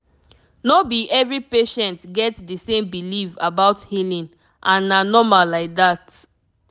no be every patient get the same belief about healing and na normal like that